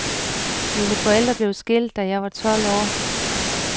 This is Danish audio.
Mine forældre blev skilt da jeg var tolv år.